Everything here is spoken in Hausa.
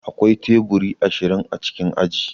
Akwai teburi ashirin a cikin aji.